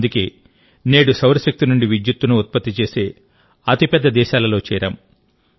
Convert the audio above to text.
అందుకేనేడుసౌరశక్తి నుండి విద్యుత్తును ఉత్పత్తి చేసే అతిపెద్ద దేశాలలో చేరాం